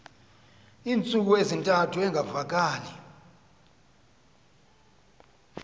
iintsuku ezintathu engavakali